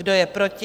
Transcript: Kdo je proti?